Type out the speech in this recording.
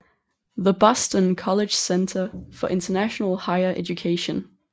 The Boston College Center for International Higher Education